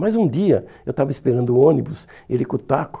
Mas um dia eu estava esperando o ônibus, ele com o taco.